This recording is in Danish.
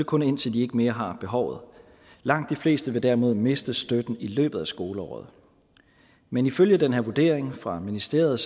kun indtil de ikke mere har behovet langt de fleste vil derimod miste støtten i løbet af skoleåret men ifølge den her vurdering fra ministeriet